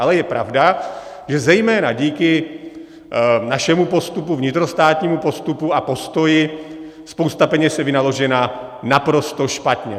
Ale je pravda, že zejména díky našemu postupu, vnitrostátnímu postupu a postoji spousta peněz je vynaložena naprosto špatně.